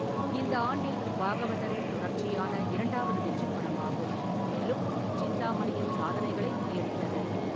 இந்த ஆண்டில் பாகவதரின் தொடர்ச்சியான இரண்டாவது வெற்றிப் படமாகும், மேலும் சிந்தாமணியின் சாதனைகளை முறியடித்தது.